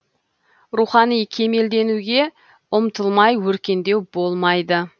рухани кемелденуге ұмтылмай өркендеу болмайды